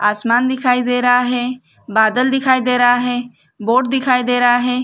आसमान दिखाई दे रहा है बादल दिखाई दे रहा है बोट दिखाई दे रहा है।